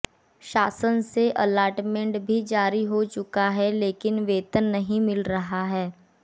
शासन से अलाटमेंट भी जारी हो चुका है लेकिन वेतन नहीं मिल रहा है